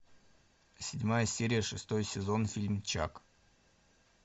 седьмая серия шестой сезон фильм чак